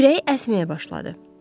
Ürəyi əsməyə başladı.